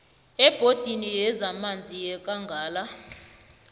ebhodini yezamanzi yekangala